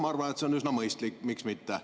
Ma arvan, et see on üsna mõistlik, miks mitte.